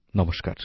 নমস্কার